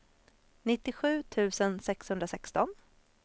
nittiosju tusen sexhundrasexton